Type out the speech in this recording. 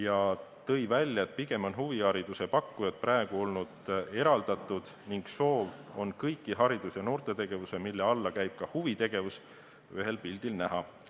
Ta tõi välja, et pigem on huvihariduse pakkujad praegu olnud eraldatud ning soov on kõiki haridus- ja noortetegevusi, mille alla käib ka huvitegevus, ühel pildil näha.